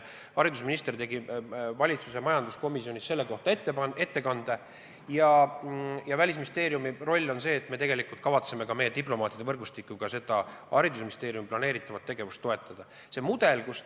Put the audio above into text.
Haridusminister tegi valitsuse majanduskomisjonis selle kohta ettekande ja Välisministeeriumi roll on see, et me püüame oma diplomaatide võrgustikuga seda haridusministeeriumi planeeritavat tegevust toetada.